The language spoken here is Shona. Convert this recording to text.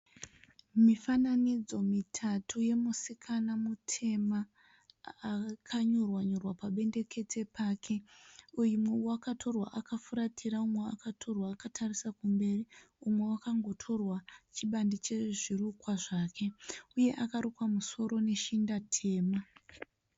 Mifananidzo mitatu yomusikana mutema akanyorwa nyorwa pabendekete pake. Kuimwe wakatorwa akafuratira. Umwe akatorwa akatarisa kumberi. Umwe akangotorwa chibande chezvirukwa zvake. Uye akarukwa musoro neshinda tema.